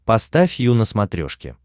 поставь ю на смотрешке